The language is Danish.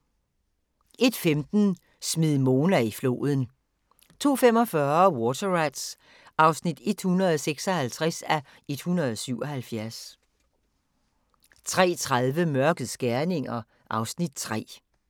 01:15: Smid Mona i floden 02:45: Water Rats (156:177) 03:30: Mørkets gerninger (Afs. 3)